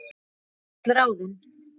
Takk fyrir öll ráðin.